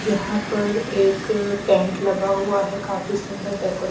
यहां पर एक टेंट लगा हुआ है काफी सुंदर डेकोरेट --